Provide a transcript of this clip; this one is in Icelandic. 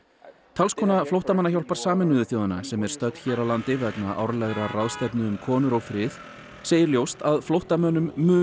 talskona flóttamannahjálpar Sameinuðu þjóðanna sem er stödd hér á landi vegna árlegrar ráðstefnu um konur og frið segir ljóst að flóttamönnum mun